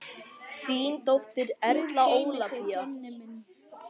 Þín dóttir, Erla Ólafía.